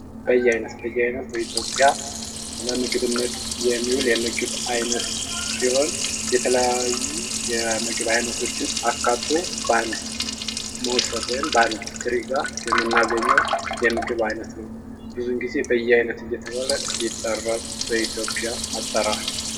በያይነት በያይነት በኢትዮጵያ ለምግብነት የሚውል የምግብ ዓይነት ሲሆን፤ የተለያዩ የምግብ ዓይነቶችን አካቶ በአንድ ሞሰብ ወይም በአንድ ትሪጋ የምናገኘው የምግብ ዓይነት ነው። ብዚውን ጊዜ በያይነቱ እየተባለ ይጠራ በኢትዮጵያ አጠራር።